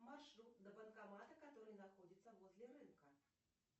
маршрут до банкомата который находится возле рынка